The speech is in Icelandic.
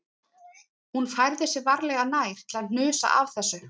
Hún færði sig varlega nær til að hnusa af þessu